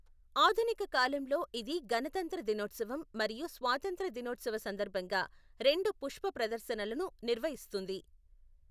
ఆధునిక కాలంలో ఇది గణతంత్ర దినోత్సవం మరియు స్వాతంత్య్ర దినోత్సవ సందర్భంగా రెండు పుష్ప ప్రదర్శనలను నిర్వహిస్తుంది.